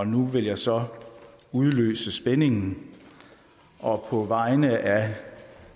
nu vil jeg så udløse spændingen og på vegne af